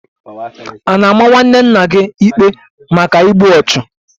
A na-ama nwanne nna gị ikpe maka igbu ọchụ?